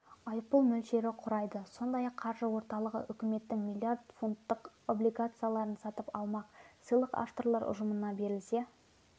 айыппұл мөлшері құрайды сондай-ақ қаржы орталығы үкіметтің миллиард фунттық облигацияларын сатып алмақ сыйлық авторлар ұжымына берілсе